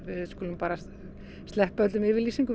skulum bara sleppa öllum yfirlýsingum